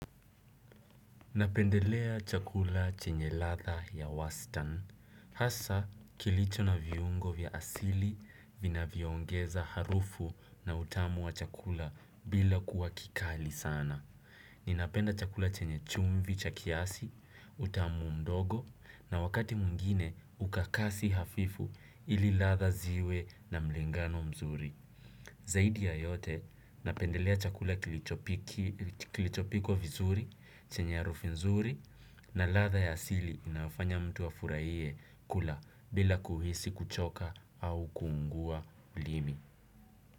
Napendelea chakula chenye ladha ya wastani. Hasa kilicho na viungo vya asili vinavyoongeza harufu na utamu wa chakula bila kuwa kikali sana. Ninapenda chakula chenye chumvi cha kiasi, utamu mdogo na wakati mwingine ukakasi hafifu ili ladha ziwe na mlingano mzuri. Zaidi ya yote napendelea chakula kilichopikwa vizuri chenye harufu nzuri na ladha ya asili inayofanya mtu afurahie kula bila kuhisi kuchoka au kuungua ulimi.